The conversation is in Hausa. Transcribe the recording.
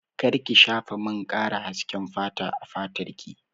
Kar ki shafa man ƙara hasken fata a fatar ki!